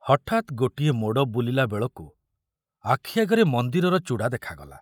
ହଠାତ୍ ଗୋଟିଏ ମୋଡ଼ ବୁଲିଲା ବେଳକୁ ଆଖି ଆଗରେ ମନ୍ଦିରର ଚୂଡ଼ା ଦେଖାଗଲା।